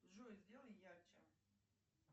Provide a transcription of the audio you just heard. джой сделай ярче